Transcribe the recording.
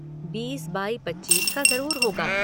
बीस बाई पचीस का ज़रूर होगा।